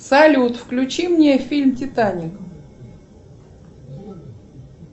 салют включи мне фильм титаник